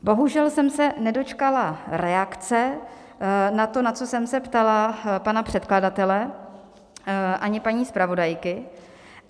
Bohužel jsem se nedočkala reakce na to, na co jsem se ptala pana předkladatele, ani paní zpravodajky.